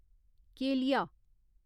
केलिया